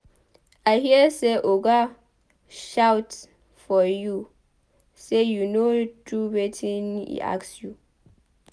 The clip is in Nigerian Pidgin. I hear say Oga shout for you say you no do wetin e ask you.